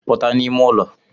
Puta n'ime ụlọ